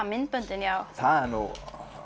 myndböndin já það er nú